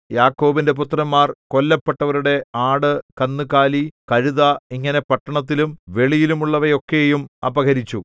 യാക്കോബിന്റെ പുത്രന്മാർ കൊല്ലപ്പെട്ടവരുടെ ആട് കന്നുകാലി കഴുത ഇങ്ങനെ പട്ടണത്തിലും വെളിയിലുമുള്ളവയൊക്കെയും അപഹരിച്ചു